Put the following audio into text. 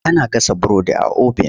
Ana gasa burodi a obin.